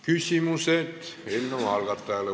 Küsimused eelnõu algatajale.